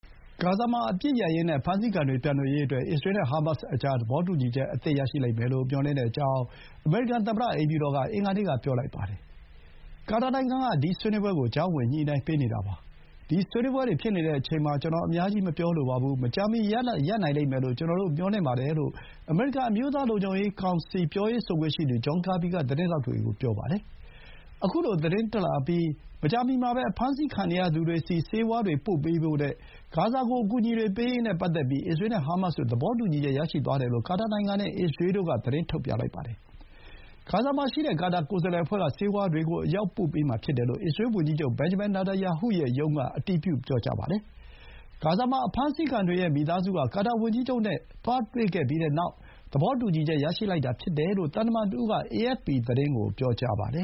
ဂါဇာမှာအပစ်ရပ်ရေးနဲ့ အဖမ်းဆီးခံတွေ ပြန်လွှတ်ရေးအတွက် အစ္စရေးနဲ့ ဟာမတ်စ်ကြား သဘောတူညီချက်အသစ်ရလိမ့်မယ်လို့ မျှော်လင့်ကြောင်း အမေရိကန် သမ္မတအိမ်ဖြူတော်က အင်္ဂါနေ့က ပြောလိုက်ပါတယ်။ ဒီဆွေးနွေးပွဲကို ကာတာနိုင်ငံက ကြားဝင်ညှိနှိုင်းပေးနေတာပါ။ “ဒီဆွေးနွေးပွဲတွေဖြစ်နေချိန်မှာ ကျနော် အများကြီး မပြောလိုပါဘူး။ မကြာမီ ရလဒ်ရနိုင်လိမ့်မယ်လို့ ကျနော်တို့မျှော်လင့်ပါတယ်" လို့ အမေရိကန်အမျိုးသား လုံခြုံရေးကောင်စီ ပြောရေးဆိုခွင့်ရှိသူ ဂျွန်ကာဘီက သတင်းထောက်တွေကို ပြောပါတယ်။ ခုလို သတင်းတက်လာအပြီးမကြာမီမှာပဲ အဖမ်းဆီးခံနေရသူတွေဆီ ဆေးဝါးတွေပို့ပေးဖို့နဲ့ ဂါဇာကို အကူအညီတွေပေးရေးနဲ့ပတ်သက်ပြီး အစ္စရေးနဲ့ဟာမတ်စ်တို့ သဘောတူညီချက်ရရှိသွားတယ်လို့ ကာတာနိုင်ငံနဲ့ အစ္စရေးတို့က သတင်းထုတ်ပြန်လိုက်ပါတယ်။ ဂါဇာမှာရှိတဲ့ ကာတာကိုယ်စားလှယ်အဖွဲ့က ဆေးဝါးတွေ အရောက်ပို့ပေးမှာ ဖြစ်တယ်လို့ အစ္စရေးဝန်ကြီးချုပ် ဘင်ဂျမင် နေတန်ယာဟုရဲ့ရုံးက အတည်ပြုပြောပါတယ်။ ဂါဇာမှာ အဖမ်းဆီးခံတွေရဲ့မိသားစုက ကာတာဝန်ကြီးချုပ်နဲ့ သွားတွေ့ပြီးတဲ့နောက် သဘောတူညီချက်ရရှိလာတာဖြစ်တယ်လို့ သံတမန်တဦးက အေအက်ဖ်ပီ သတင်းကို ပြောပါတယ